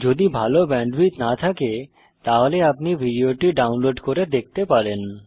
যদি ভাল ব্যান্ডউইডথ না থাকে তাহলে আপনি ভিডিওটি ডাউনলোড করে দেখতে পারেন